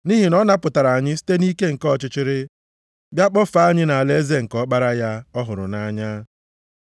Nʼihi na ọ napụtara anyị site nʼike nke ọchịchịrị, bịa kpọfee anyị nʼalaeze nke Ọkpara ya ọ hụrụ nʼanya.